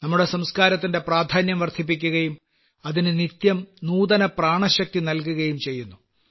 ഇവ നമ്മുടെ സംസ്ക്കാരത്തിന്റെ പ്രാധാന്യം വർദ്ധിപ്പിക്കുകയും അതിന് നിത്യം നൂതന പ്രാണശക്തി നൽകുകയും ചെയ്യുന്നു